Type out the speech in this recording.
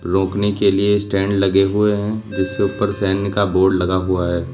रोकने के लिए स्टैंड लगे हुए हैं जिससे ऊपर सैनिक का बोर्ड लगा हुआ है।